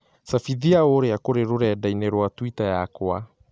cabithia ũria kũri rũrenda - ĩni rũa tũita yakwa